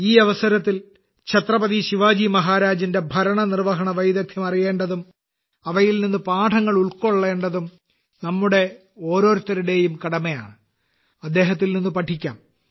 ഈ അവസരത്തിൽ ഛത്രപതി ശിവജി മഹാരാജിന്റെ ഭരണനിർവഹണ വൈദഗ്ധ്യം അറിയേണ്ടതും അവയിൽ നിന്ന് പാഠങ്ങൾ ഉൾക്കൊള്ളേണ്ടതും നമ്മുടെ ഓരോരുത്തരുടെയും കടമയാണ് അദ്ദേഹത്തിൽ നിന്ന് പഠിക്കാം